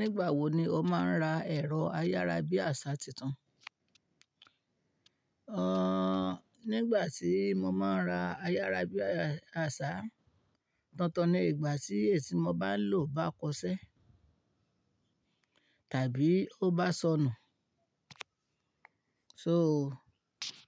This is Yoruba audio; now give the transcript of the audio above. Nígbà wo ni o máa ń ra ẹ̀rọ ayára bí àṣá tuntun? Nígbà tí mo máa ń ra ayára bí àṣá tuntun ni ìgbà tí èyí tí mo bá ń lò bá kọ ṣẹ́ tàbí ó bá sọnù. So